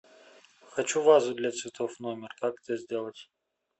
хочу вазу для цветов в номер как это сделать